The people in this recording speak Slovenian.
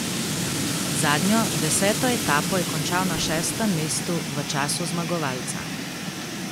Zadnjo, deseto etapo je končal na šestem mestu v času zmagovalca.